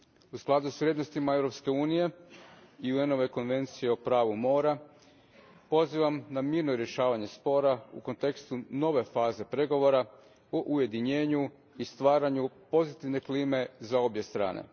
U skladu s vrijednostima Europske unije i UN ove konvencije o pravu mora pozivam na mirno rješavanje spora u kontekstu nove faze pregovora o ujedinjenju i stvaranju pozitivne klime za obje strane.